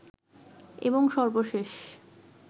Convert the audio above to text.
এবং সর্বশেষ